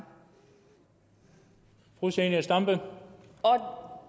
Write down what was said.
usa og